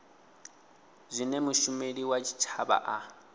zwine mushumeli wa tshitshavha a